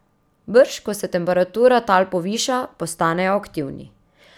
Brž ko se temperatura tal poviša, postanejo aktivni.